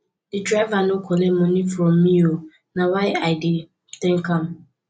di driver no collect moni from me o na why i dey tank am